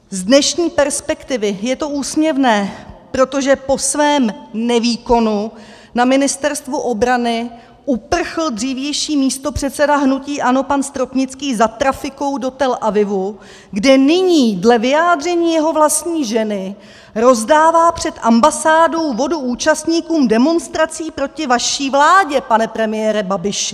Z dnešní perspektivy je to úsměvné, protože po svém nevýkonu na Ministerstvu obrany uprchl dřívější místopředseda hnutí ANO pan Stropnický za trafikou do Tel Avivu, kde nyní dle vyjádření jeho vlastní ženy rozdává před ambasádou vodu účastníkům demonstrací proti vaší vládě, pane premiére Babiši!